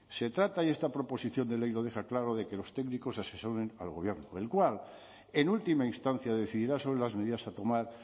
se trata y esta proposición de ley lo deja claro de que los técnicos asesoren al gobierno el cual en última instancia decidirá sobre las medidas a tomar